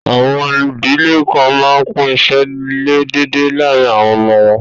Àwọn idílẹ̀ kàn mán pín ìṣẹ̀ ilẹ̀ dẹ̀dẹ lárìn àwọn ọmọ wọn.